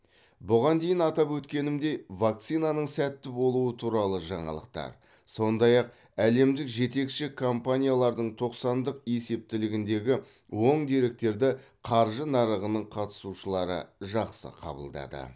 бұған дейін атап өткенімдей вакцинаның сәтті болуы туралы жаңалықтар сондай ақ әлемдік жетекші компаниялардың тоқсандық есептілігіндегі оң деректерді қаржы нарығының қатысушылары жақсы қабылдады